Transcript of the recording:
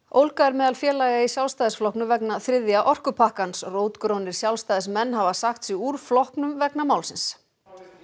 ólga er meðal félaga í Sjálfstæðisflokknum vegna þriðja orkupakkans rótgrónir Sjálfstæðismenn hafa sagt sig úr flokknum vegna málsins